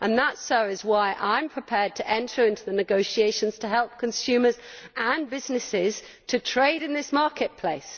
That is why I am prepared to enter into the negotiations to help consumers and businesses to trade in this marketplace.